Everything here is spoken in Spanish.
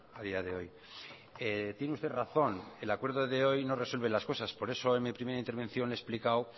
a día de hoy tiene usted razón el acuerdo de hoy no resuelve las cosas por eso en mi primera intervención le he explicado